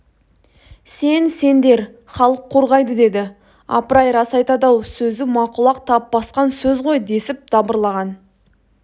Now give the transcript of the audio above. сен сендер халық қорғайды деді апыр-ай рас айтады-ау сөзі мақұл-ақ тап басқан сөз ғой десіп дабырлаған